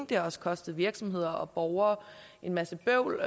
det har også kostet virksomheder og borgere en masse bøvl